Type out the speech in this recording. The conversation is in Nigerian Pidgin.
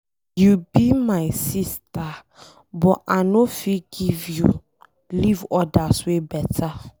You be my sister but I no fit give you, leave others wey beta.